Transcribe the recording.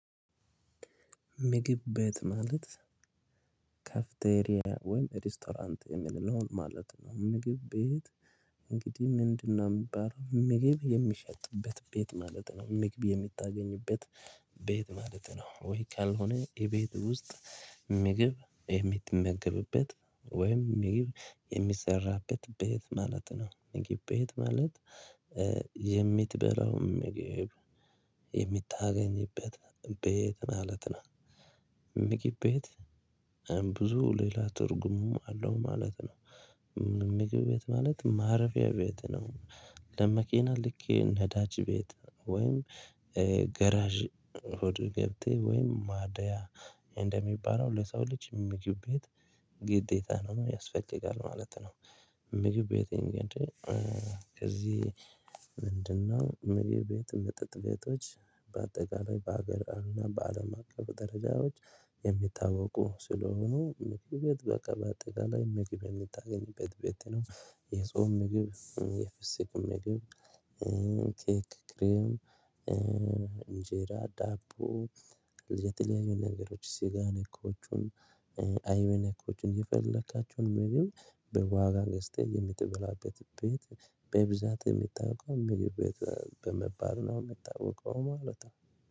ምግብ ቤት ማለት ካፍተሪያ ወይም ሬስቶራንት የሚል ነው ማለት ነው። ምግብ ቤት እንግዲህ ምንድነው የምግብ የሚሸጥበት ቤት ማለት ነው። ምግብ የምታገኝበት ቤት ማለት ነው። ወይ ካልሆነ የቤት ውስጥ ምግብ የምትመገብበት ወይም ምግብ የሚሰራበት ቤት ማለት ነው። ምግብ ቤት ማለት የምትበላውም የምታገኝበት ቤት ማለት ነው። ምግብ ቤት ብዙ ሌላ ትርጉሙ አለው ማለት ነው። ምግብ ቤት ማለት ማረፊያ ቤት ነው። ለመኪና ልክ ነዳጅ ቤት ወይም ጋራዥ ሁሉ ቦቴ ወይም ማደያ እንደሚባለው ለሰው ልጅ ምግብ ቤት ግዴታ ነው ያስፈልጋል ማለት ነው። ምግብ ቤት ይሄን ግዴ ከዚህ ምንድን ነው? መሪ ቤት መጠጥ ቤቶች በአጠቃላይ በሀገር እና በአለም አቀፍ ደረጃዎች የሚታወቁ ስለሆኑ ምግብ ቤት በአቀፍ አጠቃላይ ምግብ የምታገኝበት ቤት ነው። የጾም ምግብ የፍስክ ምግብ ኬክ ክሪም እንጀራ ዳቦ የተለያዩ ነገሮች ስጋ ነኮቹን የፈለካቸውን ምግብ በዋጋ ገስቴ የምትበላበት ቤት በብዛት የሚታወቀው በቤት በመባል ነው የሚታወቀው ማለት ነው።